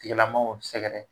Tilamaaw sɛgɛrɛ.